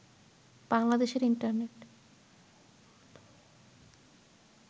বাংলাদেশের ইন্টারনেট